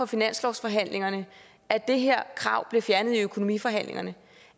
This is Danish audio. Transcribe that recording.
finanslovsforhandlingerne at det her krav bliver fjernet i økonomiforhandlingerne